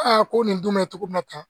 ko nin dun bɛ cogo min na tan